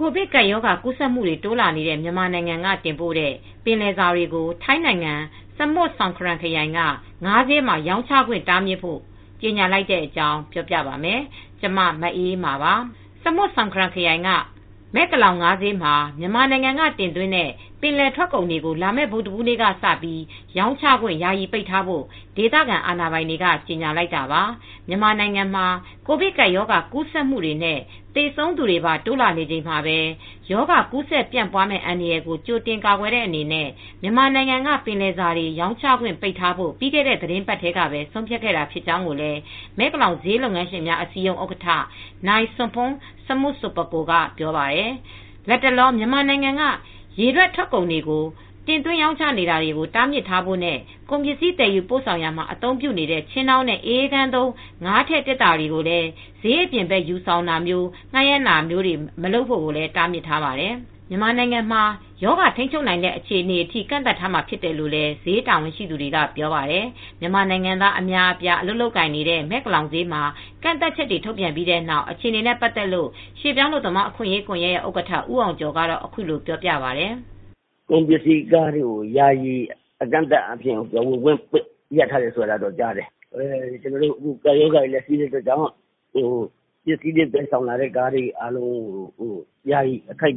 ကိုဗစ်ကပ်ရောဂါကူးစက်မှုတွေ တိုးလာနေတဲ့ မြန်မာနိုင်ငံက တင်ပို့တဲ့ ပင်လယ်စာတွေကို ထိုင်းနိုင်ငံ Samut Songkhram ခရိုင်က ငါးဈေးမှာ ရောင်းချခွင့် တားမြစ်ဖို့ ကြေညာလိုက်တဲ့အကြောင်း ပြောပြပါမယ်။ ဗွီအိုအေမြန်မာပိုင်းသတင်းထောက် မအေးအေးမာက သတင်းပေးပို့ထားပါတယ်။ Samut Songkhram ခရိုင်က Mae Klong ငါးဈေးမှာ မြန်မာနိုင်ငံကတင်သွင်းတဲ့ ပင်လယ်ထွက်ကုန်တွေကို လာမယ့် ဗုဒ္ဓဟူးနေ့က စရောင်းချခွင့် ယာယီပိတ်ထားဖို့ ဒေသခံအာဏာပိုင်တွေ ကြေညာလိုက်တာပါ။ မြန်မာနိုင်ငံမှာ ကိုဗစ်ကပ်ရောဂါ ကူးစက်မှုတွေနဲ့ သေဆုံးသူတွေပါ တိုးလာနေချိန်မှာပဲ ရောဂါကူးစက်ပြန့်ပွားမယ့် အန္တရာယ်ကို ကြိုတင်ကာကွယ်တဲ့အနေနဲ့ မြန်မာနိုင်ငံက ပင်လယ်စာတွေ ရောင်းချခွင့် ပိတ်ထားဖို့ ပြီးခဲ့တဲ့ သီတင်းပတ်ထဲမှာပဲ ဆုံးဖြတ်ခဲ့တာ ဖြစ်ကြောင်းလည်း Mae Klong ဈေးလုပ်ငန်းရှင်များ အစည်းအရုံး ဥက္ကဋ္ဌ နိုင်စွန်ဖုန်း စမု ဆိုပကို Mr. Somporn Samut Sopakul ကပြောပါတယ်။ လတ်တလော မြန်မာနိုင်ငံက ရေထွက်ကုန်တွေကို တင်းသွင်းရောင်းချတာတွေကို တားမြစ်ထားဖို့နဲ့ ကုန်ပစ္စည်း သယ်ယူပို့ဆောင်ရာမှာ အသုံးပြုတဲ့ ခြင်းတောင်းနဲ့ အအေးခန်းသုံး ငါးထည့် သေတ္တာတွေကို ဈေးအပြင်ဘက် ယူဆောင်တာ၊ ငှားရမ်းတာတွေ မလုပ်ဖို့လည်း တားမြစ်ထားပါတယ်။ မြန်မာနိုင်ငံမှာ ရောဂါထိန်းချုပ်နိုင်တဲ့ အခြေအနေအထိ ကန့်သတ်ထားမှာ ဖြစ်တယ်လို့လည်း ဈေးတာဝန်ရှိသူတွေက ပြောပါတယ်။ မြန်မာနိုင်ငံသား အလုပ်သမား အများအပြား အလုပ်လုပ်ကိုင်နေတဲ့ Mae Klong ဈေးမှာ ကန့်သတ်ချက်တွေ ထုတ်ပြန်လိုက်ပြီးနောက် အခြေအနေနဲ့ ပတ်သက်လို့ ရွှေ့ပြောင်းအလုပ်သမား အခွင့်အရေးကွန်ယက် ဥက္ကဋ္ဌ ဦးအောင်ကျော်ကတော့ အခုလိုပြောပြပါတယ်။ "ကုန်ပစ္စည်းကားတွေကို ရက်အကန့်အသတ်မရှိ ယာယီရပ်ဆိုင်းထားတယ်လို့ ကြားတယ် ကပ်ရောဂါတွေရှိတဲ့အတွက် ပစ္စည်းတွေ သယ်ဆောင်လာတဲ့ကားတွေကို အကန့်အ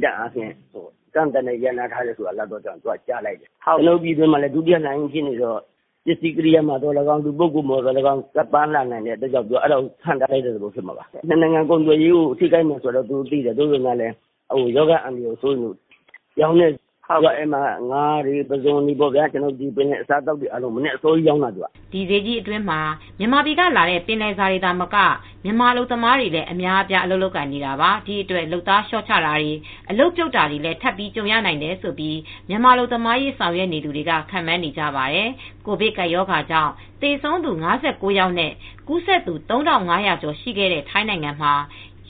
သတ်နဲ့ ရပ်ဆိုင်းလိုက်တယ်။ မြန်မာပြည်တွင်းမှာလည်း ဒုတိယလှိုင်း ကိုဗစ်ဖြစ်နေတော့ လူပုဂ္ဂိုလ်ကနေရော၊ အစားအသောက်ကရော ကပ်ပါလာမှာကြောင့် ဟန့်တားလိုက်တဲ့သဘောဖြစ်မှာပါ နှစ်နိုင်ငံစီးပွားရေး ကုန်သွယ်ရေး ထိခိုက်မယ်ဆိုတာတော့ သူတို့လည်း သိပါတယ်။ သို့ပေမဲ့ ရောဂါအန္တရာယ်စိုးရိမ်လို့ ဖြစ်တာပါ။ အဲဒီဈေးမှာ ငါးနဲ့ ပုဇွန်နဲ့ ရေထွက်ပစ္စည်းကို အဓိကရောင်းတာပါ။" ဒီဈေးကြီးအတွင်းမှာ မြန်မာပြည်ကလာတဲ့ ပင်လယ်စာတွေသာမက မြန်မာအလုပ်သမားတွေလည်း အများအပြား အလုပ်လုပ်ကိုင်နေတာပါ။ ဒီအတွက် လုပ်သားလျော့ချတာတွေ အလုပ်ပြုတ်တာတွေလည်း ထပ်ပြီးကြုံရနိုင်တယ်လို့ မြန်မာအလုပ်သမားရေး ဆောင်ရွက်နေသူတွေက ခန့်မှန်းနေကြပါတယ်။ ကိုဗစ်ကပ်ရောဂါကြောင့် သေဆုံးသူ ၅၉ ယောက်နဲ့ ကူးစက်သူ ၃,၅၀၀ ကျော် ရှိခဲ့တဲ့ ထိုင်းနိုင်ငံမှာ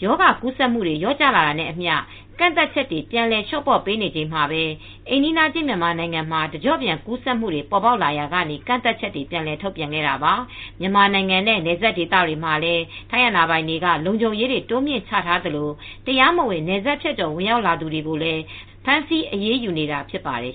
ရောဂါကူးစက်မှုတွေ လျော့ကျလာတာနဲ့အမျှ ကန့်သတ်ချက်တွေ ပြန်လည်လျှော့ပေါ့ပေးနေချိန်မှာပဲ အိမ်နီးချင်း မြန်မာနိုင်ငံမှာ တကျော့ပြန်ကူးစက်မှုတွေ ပေါ်ပေါက်လာရာက ကန့်သတ်ချက်တွေ ပြန်လည်ထုတ်ပြန်ခဲ့တာပါ။ မြန်မာနိုင်ငံနဲ့ နယ်စပ်ဒေသတွေမှာလည်း ထိုင်းအာဏာပိုင်တွေက လုံခြုံရေးတွေ တိုးမြှင့်ချထားသလို တရားမဝင် နယ်စပ်ဖြတ်ကျော် ဝင်ရောက်သူတွေကိုလည်း ဖမ်းဆီးအရေးယူနေတာ ဖြစ်ပါတယ်